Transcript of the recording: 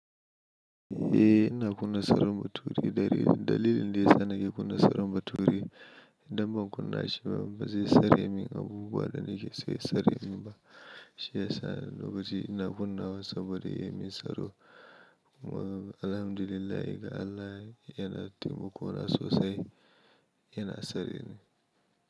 Eh, ina kunna saren bature dare. Dalilin da ya sa nake kunna saren bature idan ban kunna shi ba ba zai sare min abubuwa da nake so ya sare min ba. Shi ya sa lokaci ina kunnawa saboda ya mun tsaro. Alhamdulillah ga Allah yana taimakona sosai yana sare ni.